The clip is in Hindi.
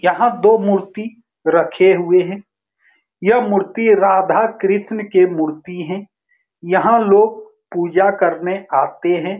यहां दो मूर्ति रखे हुए हैं ये मूर्ति राधा कृष्ण के मूर्ति है यहां लोग पूजा करने आते हैं।